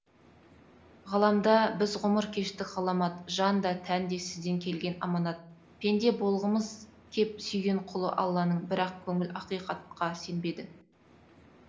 ғаламда біз ғұмыр кештік ғаламат жан да тән де сізден келген аманат пенде болғымыз кеп сүйген құлы алланың бірақ көңіл ақиқатқа сенбеді